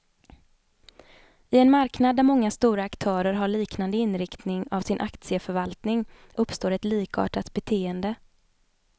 I en marknad där många stora aktörer har liknande inriktning av sin aktieförvaltning, uppstår ett likartat beteende.